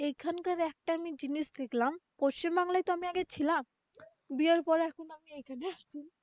এখানকার একটা আমি জিনিস দেখলাম, পশ্চিমবাংলায় তো আমি আগে ছিলাম। বিয়ের পরে এখন আমি এই ।